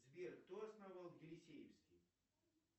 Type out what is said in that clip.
сбер кто основал елисеевский